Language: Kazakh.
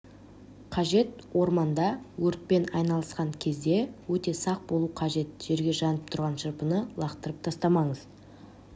қажет орманда өртпен айналысқан кезде өте сақ болу қажет жерге жанып тұрған шырпыны лақтырып тастамаңыз